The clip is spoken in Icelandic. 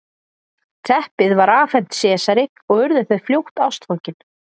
teppið var afhent sesari og urðu þau fljótt ástfangin